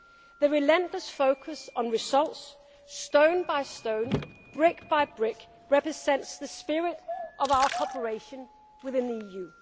a strong commitment to deliver on the needs and demands of the citizens. The relentless focus on results, stone by stone,